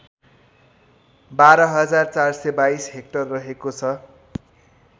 १२४२२ hectare रहेको छ